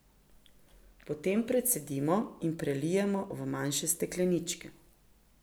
Potem precedimo in prelijemo v manjše stekleničke.